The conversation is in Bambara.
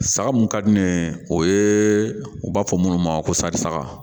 Saga mun ka di ne ye o ye u b'a fɔ minnu ma ko sari saga